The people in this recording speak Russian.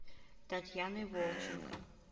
татьяной волченко